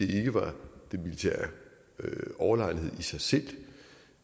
det ikke var den militære overlegenhed i sig selv